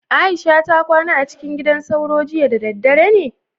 Aisha ta kwana acikin gidan sauro jiya da daddare ne?